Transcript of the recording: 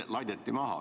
See laideti maha.